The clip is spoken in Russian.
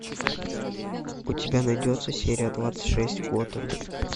у тебя найдется серия двадцать шесть готэм